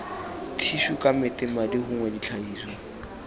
thišu kamete madi gongwe ditlhagiswa